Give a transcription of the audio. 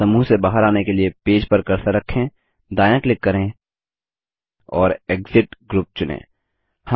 समूह से बाहर आने के लिए पेज पर कर्सर रखें दायाँ क्लिक करें और एक्सिट ग्रुप चुनें